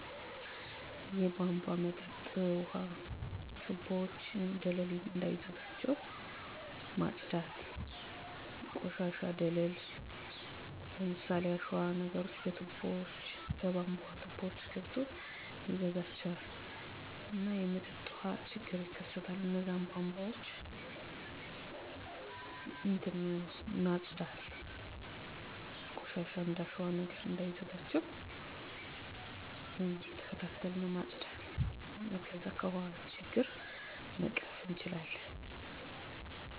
በእኔ አካባቢ የውሃ አቅርቦት ካለፉት አመታት ጋር ሲነፃፀር ብዙም አስተማማኝ እየሆነ መጥቷል፣ በደረቅ ወቅቶች አልፎ አልፎም ይከሰታሉ። ይህ በከፊል የአየር ንብረት መለዋወጥ እና የአካባቢ ፍላጎት መጨመር ምክንያት ነው. የውሃ አያያዝን ለማሻሻል የዝናብ ውሃ ማሰባሰብ፣ የቧንቧ መጠገንና መጠገን፣ የተቀላጠፈ የቤተሰብ ውሃ አጠቃቀምን ማስተዋወቅ እና የማህበረሰብ አቀፍ የውሃ ጥበቃ ፕሮግራሞችን መተግበር የመፍትሄ ሃሳቦች ቀርበዋል። በተጨማሪም ነዋሪዎችን ስለ ዘላቂ የውሃ ልምዶች ማስተማር እና የአካባቢ የውሃ ምንጮችን ከብክለት መጠበቅ ለህብረተሰቡ የበለጠ ወጥ እና አስተማማኝ የውሃ አቅርቦት እንዲኖር ያስችላል።